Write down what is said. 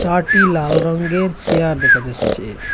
টি লাল রঙ্গের চিয়ার দেখা যাচ্ছে।